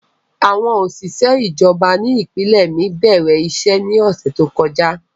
Àwọn oṣiṣẹ ijọba ni ipinlẹ mi bẹrẹ iṣẹ ni ọsẹ to kọja.